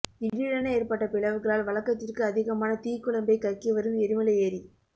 திடிரென ஏற்பட்ட பிளவுகளால் வழக்கத்திற்கு அதிகமான தீக்குழம்பை கக்கி வரும் எரிமலை ஏரி